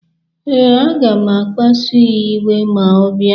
Ee, aga m akpasu ya iwe ma ọ bịa.